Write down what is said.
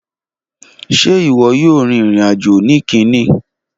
Ṣe iwọ yoo rin irin-ajo ni Kínní!